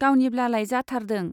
गावनिब्लालाय जाथारदों।